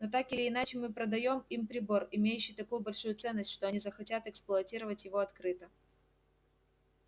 но так или иначе мы продаём им прибор имеющий такую большую ценность что они захотят эксплуатировать его открыто